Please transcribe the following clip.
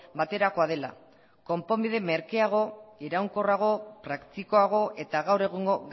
baterakoa dela konponbide merkeago iraunkorrago praktikoago eta gaur egungo